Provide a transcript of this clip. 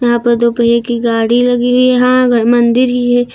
यहां पर दो पहिए की गाड़ी लगी हुई है यहां अगर मंदिर ही है।